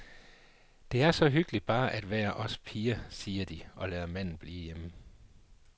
Det er så hyggeligt bare at være os piger, siger de og lader manden blive derhjemme.